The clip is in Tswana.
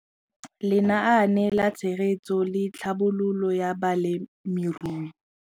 Lenaane la Tshegetso le Tlhabololo ya Balemirui.